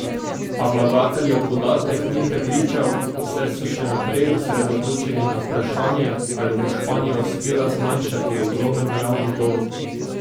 A vlagateljev podatek ni prepričal, saj so še naprej osredotočeni na vprašanje, ali bo Španija uspela zmanjšati ogromen javni dolg.